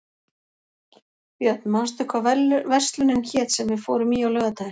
Björn, manstu hvað verslunin hét sem við fórum í á laugardaginn?